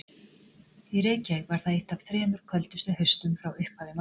Í Reykjavík var það eitt af þremur köldustu haustum frá upphafi mælinga.